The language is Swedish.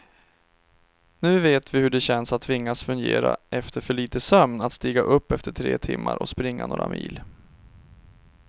Nu vet vi hur det känns att tvingas fungera efter för lite sömn, att stiga upp efter tre timmar och springa några mil.